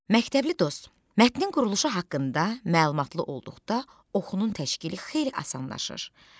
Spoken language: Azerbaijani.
Məktəbli dost, mətnin quruluşu haqqında məlumatlı olduqda oxunun təşkili xeyli asanlaşır.